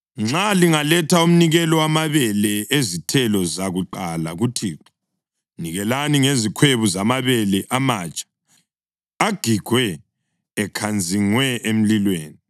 Nxa lingaletha umnikelo wamabele ezithelo zakuqala kuThixo, nikelani ngezikhwebu zamabele amatsha agigwe ekhanzingwe emlilweni.